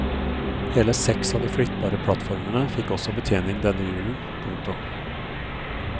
Hele seks av de flyttbare plattformene fikk også betjening denne julen. punktum